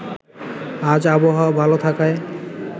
আজ আবহাওয়া ভালো থাকায়